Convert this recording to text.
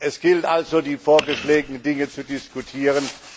Es gilt also, die vorgeschlagenen Dinge zu diskutieren.